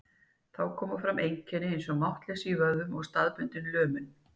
Þá koma fram einkenni eins og máttleysi í vöðvum og staðbundin lömun.